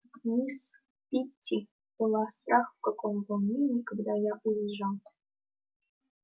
мисс питти была страх в каком волнении когда я уезжал